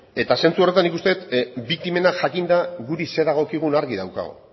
eta zentzu horretan nik uste biktimena jakinda guri zer dagokigun argi daukagu